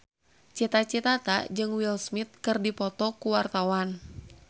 Cita Citata jeung Will Smith keur dipoto ku wartawan